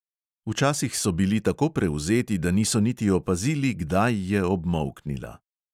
Včasih so bili tako prevzeti, da niso niti opazili, kdaj je obmolknila.